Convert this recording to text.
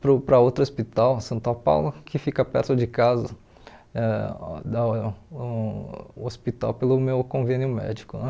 para o para outro hospital, Santa Paula, que fica perto de casa, ãh dá o hospital pelo meu convênio médico né.